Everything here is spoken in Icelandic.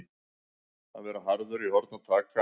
Að vera harður í horn að taka